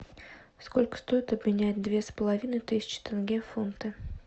сколько стоит обменять две с половиной тысячи тенге в фунты